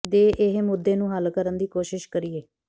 ਦੇ ਇਹ ਮੁੱਦੇ ਨੂੰ ਹੱਲ ਕਰਨ ਦੀ ਕੋਸ਼ਿਸ਼ ਕਰੀਏ